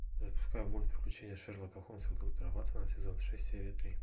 запускай мульт приключения шерлока холмса и доктора ватсона сезон шесть серия три